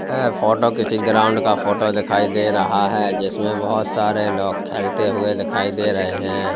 ऐ photo किसी ground का photo दिखाई दे रहा है जिसमें बहुत सारे लोग खेलते हुए दिखाई दे रहे हैं।